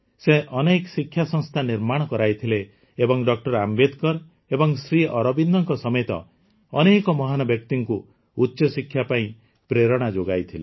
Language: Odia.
ସେ ଅନେକ ଶିକ୍ଷାସଂସ୍ଥା ନିର୍ମାଣ କରାଇଥିଲେ ଏବଂ ଡ ଆମ୍ବେଦକର ଏବଂ ଶ୍ରୀ ଅରବିନ୍ଦଙ୍କ ସମେତ ଅନେକ ମହାନ ବ୍ୟକ୍ତିଙ୍କୁ ଉଚ୍ଚଶିକ୍ଷା ପାଇଁ ପ୍ରେରଣା ଯୋଗାଇଥିଲେ